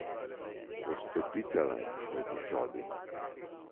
Odstopicala je proti sobi.